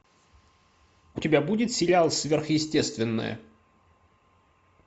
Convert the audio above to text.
у тебя будет сериал сверхъестественное